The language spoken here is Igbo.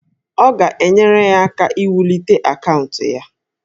Ọ ga-enyere ya aka iwulite akaụntụ ya